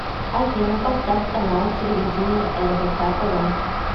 афина поставь канал телевидения рбк тв